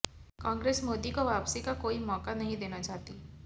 कांग्रेस मोदी को वापसी का कोई मौका नही देना चाहती